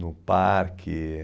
no parque.